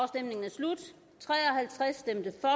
halvtreds